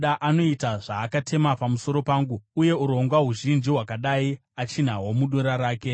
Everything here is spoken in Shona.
Anoita zvaakatema pamusoro pangu, uye urongwa huzhinji hwakadai achinahwo mudura rake.